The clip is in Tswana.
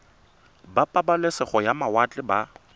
ba pabalesego ya mawatle ba